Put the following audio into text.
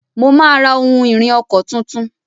Mo máa ra ohun-ìrìn ọkọ̀ tuntun.